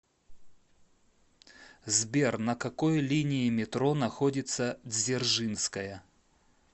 сбер на какой линии метро находится дзержинская